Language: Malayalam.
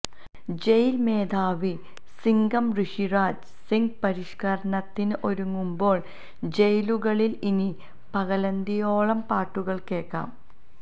ജയിൽ മേധാവി സിങ്കം ഋഷിരാജ് സിങ് പരിഷ്കരണത്തിന് ഒരുങ്ങുമ്പോൾ ജയിലുകളിൽ ഇനി പകലന്തിയോളം പാട്ടുകേൾക്കാം